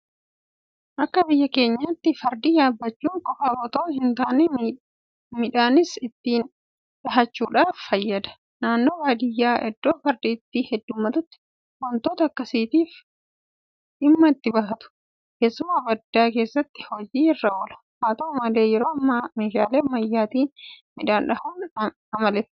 Akka biyya keenyaatti fardi yaabbachuu qofaaf itoo hintaane midhaanis ittiin dhahuudhaaf fayyada. Naannoo baadiyyaa iddoo fardi itti heddummatutti waantota akkasiitiif dhimma itti bahatu. Keessumaa baddaa keessatti hojii irra oola. Haata'u malee yeroo ammaa meeshaalee ammayyaatiin midhaan dhahuun amaleeffatameera.